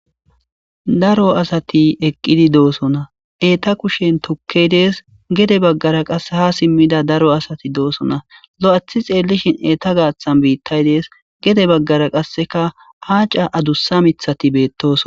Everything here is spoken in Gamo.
daro asati eqqidi doosona eeta kushen tokkey dees gede baggara qasse ha simmida daro asati doosona lo7athi xeellishin eeta gaaththan biittay dees gede baggara qasseka haaca adussa mithati beettos